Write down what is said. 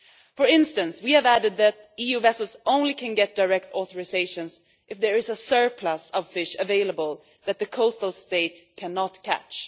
For instance, we have added that EU vessels can only get direct authorisations if there is a surplus of fish available that the coastal state cannot catch.